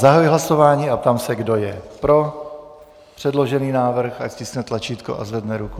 Zahajuji hlasování a ptám se, kdo je pro předložený návrh, ať stiskne tlačítko a zvedne ruku.